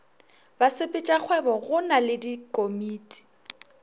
basepetšakgwebo go na le dikomiti